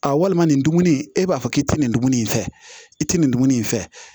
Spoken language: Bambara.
A walima nin dumuni e b'a fɔ k'i tɛ nin dumuni in fɛ i tɛ nin dumuni in fɛ